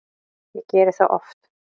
Ég geri það oft